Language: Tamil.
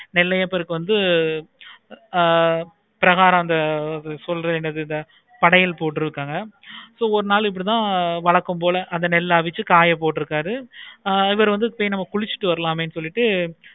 நெல்லையப்பருக்கு வந்து ஆஹ் பிரகாரம் அந்த சொல்ற கடைகள் போட்டுருக்காங்க so ஒரு நாள் இப்படித்தான் வழக்கம் போல அந்த நெல்லை அவிச்சி காய போட்டு இருக்காரு. இவரு வந்து ஆஹ் சேரி நம்ம குளிச்சிட்டு வந்துரலாமே சொல்லிட்டு